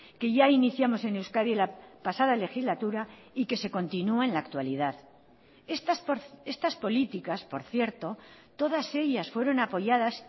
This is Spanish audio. que ya iniciamos en euskadi la pasada legislatura y que se continúa en la actualidad estas políticas por cierto todas ellas fueron apoyadas